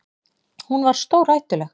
Hún var stórhættuleg.